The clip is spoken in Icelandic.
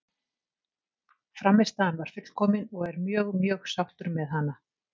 Frammistaðan var fullkomin og er mjög mjög sáttur með hana.